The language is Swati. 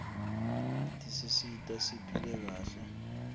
tisisita siphile kahle